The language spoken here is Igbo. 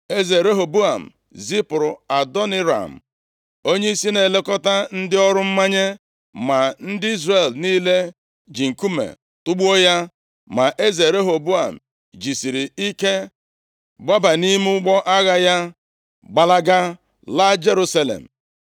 Eze Rehoboam zipụrụ Adoniram, onyeisi na-elekọta ndị ọrụ mmanye, ma ndị Izrel niile ji nkume tugbuo ya. Ma eze Rehoboam jisiri ike gbaba nʼime ụgbọ agha ya, gbalaga laa Jerusalem.